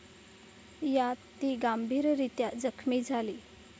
यात ती गंभीररीत्या जखमी झाली.